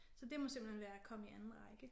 Så det må simpelthen være komme i anden række